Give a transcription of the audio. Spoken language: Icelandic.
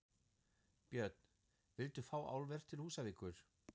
Björn: Vilt þú fá álver til Húsavíkur?